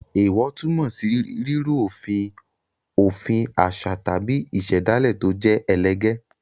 Èèwọ̀ túmọ̀ sí rírú òfin òfin àṣà tàbí ìṣẹ̀dálẹ̀ tó jẹ́ ẹlẹgẹ́.